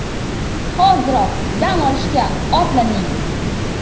Hoziroq dam olishga otlaning!